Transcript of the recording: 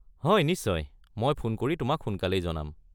হয়, নিশ্চয়, মই ফোন কৰি তোমাক সোনকালেই জনাম।